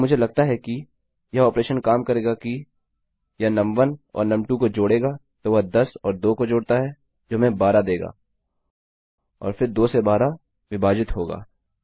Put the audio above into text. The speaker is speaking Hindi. अब मुझे लगता है कि यह ऑपरेशन काम करेगा कि यह नुम1 और नुम2 को जोड़ेगा तो वह 10 और 2 को जोड़ता है जो हमें 12 देगा और फ़िर 2 से 12 विभाजित होगा